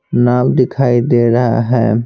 नाव दिखाई दे रहा है।